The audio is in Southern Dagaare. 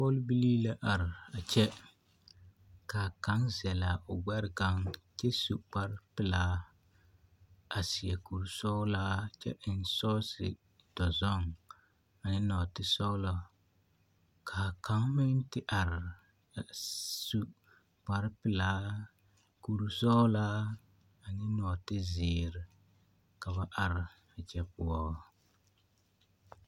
Pɔlbilii la are a kyɛ k'a kaŋ zɛlaa o gbɛre kaŋ kyɛ su kpare pelaa a seɛ kuri sɔgelaa kyɛ eŋ sɔɔse dɔzɔŋ a eŋ nɔɔte sɔgelɔ k'a kaŋ meŋ te are a su kpare pelaa kuri sɔgelaa ane nɔɔte zeere ka ba are a kyɛ poɔ.